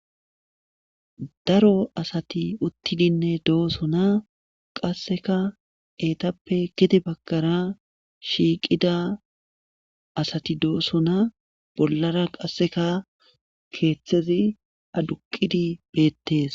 Daro asati uttidinne dooso na qasseka eetappe kidi bagkara shiiqida asati dooso na bollara qasseka keeththezi aduqidi beettees.